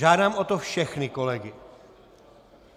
Žádám o to všechny kolegy.